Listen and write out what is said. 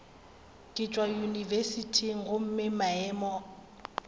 ke tšwa yunibesithing gomme maemo